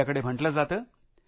आपल्याकडे म्हंटले जाते